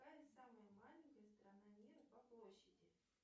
какая самая маленькая страна мира по площади